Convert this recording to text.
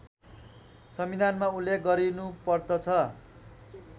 संविधानमा उल्लेख गरिनुपर्दछ